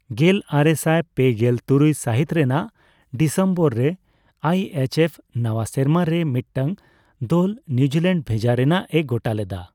ᱜᱮᱞ ᱟᱨᱮᱥᱟᱭ ᱯᱮᱜᱮᱞ ᱛᱩᱨᱩᱭ ᱥᱟᱦᱤᱛ ᱨᱮᱱᱟᱜ ᱰᱤᱥᱮᱢᱵᱚᱨ ᱨᱮ ᱟᱭᱹᱮᱤᱪᱹᱮᱯᱷ ᱱᱟᱣᱟ ᱥᱮᱨᱢᱟ ᱨᱮ ᱢᱤᱫᱴᱟᱝ ᱫᱚᱞ ᱱᱤᱭᱩᱡᱤᱞᱮᱱᱰᱚ ᱵᱷᱮᱡᱟ ᱨᱮᱱᱟᱜᱼᱮ ᱜᱚᱴᱟ ᱞᱮᱫᱟ ᱾